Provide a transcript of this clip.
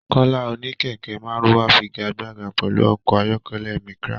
Kọla oníkẹkẹ́ maruwa fígagbágà pẹlú ọkọ ayọkẹlẹ Micra.